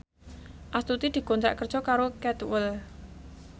Astuti dikontrak kerja karo Cadwell